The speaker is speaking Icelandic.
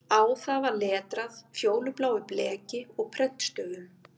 Á það var letrað fjólubláu bleki og prentstöfum